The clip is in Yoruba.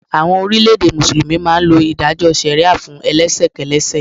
Àwọn orílẹ̀ẹ̀dè Mùsùlùmí máa lo ìdájọ́ ṣàríà fún elẹ́ṣẹ̀ kẹ́lẹ́ṣẹ̀.